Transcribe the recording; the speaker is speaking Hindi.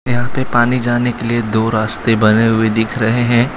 यहाँ पे पानी जाने के लिए दो रास्ते बने हुए दिख रहे हैं।